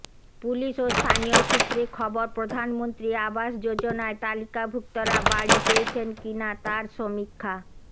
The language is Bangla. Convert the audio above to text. পুলিশ ও স্থানীয় সূত্রে খবর প্রধানমন্ত্রী আবাস যোজনায় তালিকাভুক্তরা বাড়ি পেয়েছেন কি না তার সমীক্ষা